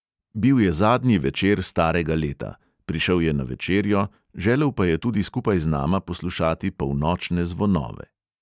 Bil je zadnji večer starega leta: prišel je na večerjo, želel pa je tudi skupaj z nama poslušati polnočne zvonove.